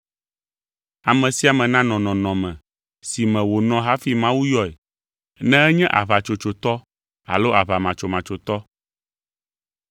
Ame sia ame nanɔ nɔnɔme si me wònɔ hafi Mawu yɔe, ne enye aʋatsotsotɔ alo aʋamatsomatsotɔ.